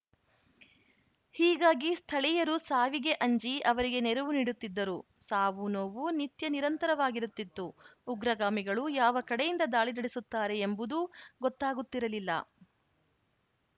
ಹೀಗಾಗಿ ಸ್ಥಳೀಯರು ಸಾವಿಗೆ ಅಂಜಿ ಅವರಿಗೆ ನೆರವು ನೀಡುತ್ತಿದ್ದರು ಸಾವುನೋವು ನಿತ್ಯ ನಿರಂತರವಾಗಿರುತ್ತಿತ್ತು ಉಗ್ರಗಾಮಿಗಳು ಯಾವ ಕಡೆಯಿಂದ ದಾಳಿ ನಡೆಸುತ್ತಾರೆ ಎಂಬುದೂ ಗೊತ್ತಾಗುತ್ತಿರಲಿಲ್ಲ